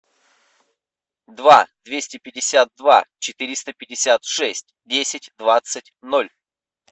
два двести пятьдесят два четыреста пятьдесят шесть десять двадцать ноль